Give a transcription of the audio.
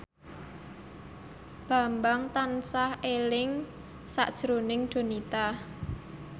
Bambang tansah eling sakjroning Donita